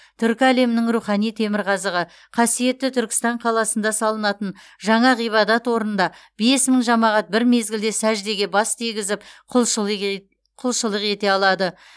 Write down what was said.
түркі әлемінің рухани темірқазығы қасиетті түркістан қаласында салынатын жаңа ғибадат орнында бес мың жамағат бір мезгілде сәждеге бас тигізіп құлшылық ете алады